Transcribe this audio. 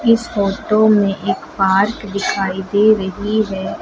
इस फोटो में एक पार्क दिखाई दे रही है।